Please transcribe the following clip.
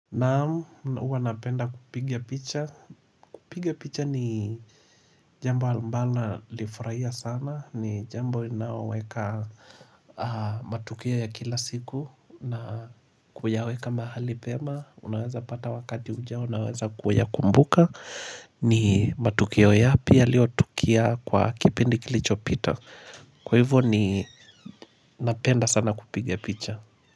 Naam, huwa napenda kupigia picha. Kupiga picha ni jambo ambalo nalifurahia sana. Ni jambo inaweka matukio ya kila siku. Na kuyaweka mahali pema. Unaweza pata wakati ujao. Unaweza kuyakumbuka. Ni matukio yapi yaliotokea kwa kipindi kilicho pita. Kwa hivyo ni napenda sana kupiga picha.